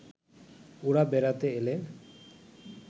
ওঁরা বেড়াতে এলে